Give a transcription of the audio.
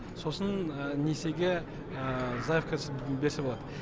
сосын несиеге заявкасын берсе болады